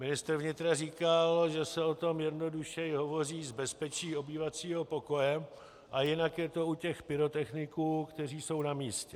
Ministr vnitra říkal, že se o tom jednodušeji hovoří z bezpečí obývacího pokoje a jinak je to u těch pyrotechniků, kteří jsou na místě.